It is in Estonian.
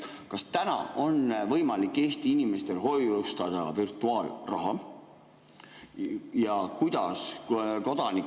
Kas täna on võimalik Eesti inimestel hoiustada virtuaalraha?